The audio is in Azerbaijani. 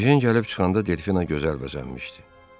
Ejen gəlib çıxanda Delfina gözəl bəzənmişdi.